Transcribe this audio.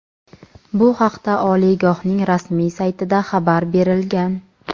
Bu haqda oliygohning rasmiy saytida xabar berilgan.